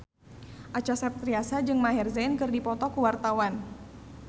Acha Septriasa jeung Maher Zein keur dipoto ku wartawan